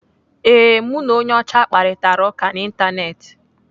Ee, mụ na onye ọcha kparitara ụka n'Ịntanetị.